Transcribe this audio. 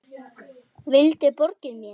Hann vildi borga mér!